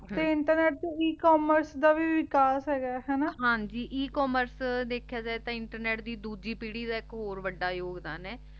ਤੇ ਇੰਟਰਨੇਟ ਚ E commerce ਦਾ ਵੀ ਵਿਕਾਸ ਹੇਗਾ ਹਾਨਾ ਹਾਂਜੀ E commerce ਦੇਖ੍ਯਾ ਜਾਵੀ ਤਾਂ ਇੰਟਰਨੇਟ ਦੀ ਡੋਜੀ ਪੀਰੀ ਦਾ ਏਇਕ ਹੋਰ ਵਾਦਾ ਯੋਗਦਾਨ ਆਯ